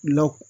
Law